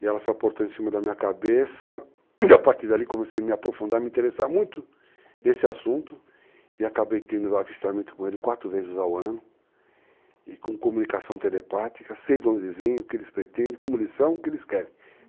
E ela se aportou em cima da minha cabeça, e a partir dali comecei a me aprofundar, me interessar muito nesse assunto, e acabei tendo avistamento com ele 4 vezes ao ano, e com comunicação telepática, sei de onde eles vêm, o que eles pretendem, como eles são, o que eles querem.